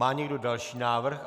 Má někdo další návrh?